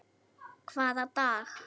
Hvaða dag?